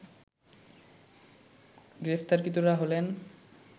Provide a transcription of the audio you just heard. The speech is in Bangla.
গ্রেপ্তারকৃতরা হলেন